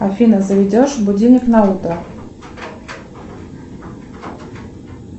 афина заведешь будильник на утро